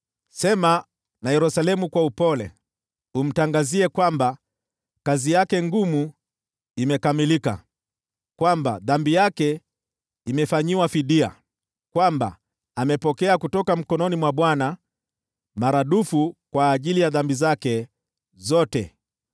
Sema na Yerusalemu kwa upole, umtangazie kwamba kazi yake ngumu imekamilika, kwamba dhambi yake imefanyiwa fidia, kwamba amepokea kutoka mkononi mwa Bwana maradufu kwa ajili ya dhambi zake zote.